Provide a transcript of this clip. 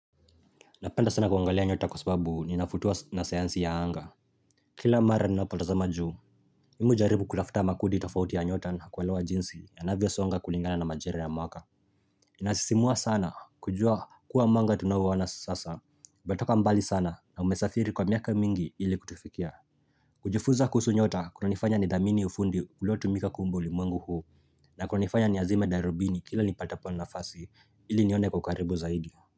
Napenda sana kuangalia nyota kwa sababu ninavutiwa na sayansi ya anga Kila mara ninapotazama juu mimi hujaribu kutafuta makundi tofauti ya nyota na kuelewa jinsi yanavyo songa kulingana na majira ya mwaka Inasisimua sana kujua kuwa mwanga tunao uona sasa umetoka mbali sana na umesafiri kwa miaka mingi ili kutufikia kujifunza kuhusu nyota kunanifanya nithamini ufundi uliotumika kuumba ulimwengu huu na kunanifanya ni azime darubini kila nipatapo nafasi ili nione kwa ukaribu zaidi.